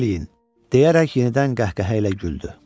Təzim eləyin!" deyərək yenidən qəhqəhə ilə güldü.